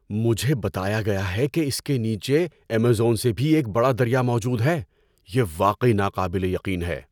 مجھے بتایا گیا ہے کہ اس کے نیچے ایمیزون سے بھی ایک بڑا دریا موجود ہے۔ یہ واقعی ناقابل یقین ہے!